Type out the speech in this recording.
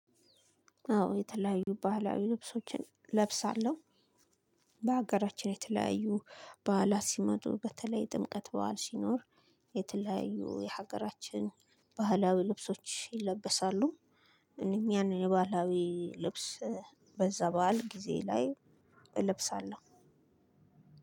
አዎ የተለያዩ ባህላዊ ልብሶችን ለብሳለሁ። በሀገራችን የተለያዩ ባህላት ሲመጡ በተለይ ጥምቀት በዓል ሲኖር የተለያዩ የሀገራችን ባህላዊ ልብሶች ይለበሳሉ። እነኚህን የባህላዊ ልብስ በዛ በዓል ጊዜ ላይ እለብሳለሁ።